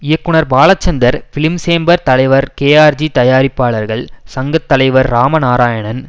இயக்குனர் பாலச்சந்தர் பிலிம்சேம்பர் தலைவர் கேஆர்ஜி தயாரிப்பாளர்கள் சங்க தலைவர் இராம நாராயணன்